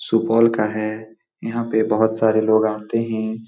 सुपौल का है यहाँ पे बहुत सारे लोग आते हैं।